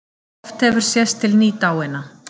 Oft hefur sést til nýdáinna